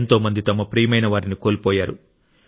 ఎంతో మంది తమ ప్రియమైన వారిని కోల్పోయారు